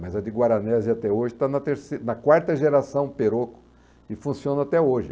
Mas a de Guaranesia até hoje está na terceira, na quarta geração Perocco e funciona até hoje.